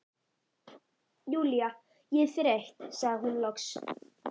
Júlía, ég er þreytt sagði hún loks.